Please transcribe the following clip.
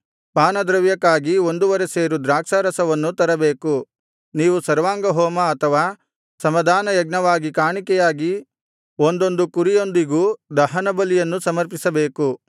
ಪಾನದ್ರವ್ಯಕ್ಕಾಗಿ ಒಂದುವರೆ ಸೇರು ದ್ರಾಕ್ಷಾರಸವನ್ನೂ ತರಬೇಕು ನೀವು ಸರ್ವಾಂಗಹೋಮ ಅಥವಾ ಸಮಾಧಾನಯಜ್ಞವಾಗಿ ಕಾಣಿಕೆಯಾಗಿ ಒಂದೊಂದು ಕುರಿಯೊಂದಿಗೂ ದಹನ ಬಲಿಯನ್ನು ಸಮರ್ಪಿಸಬೇಕು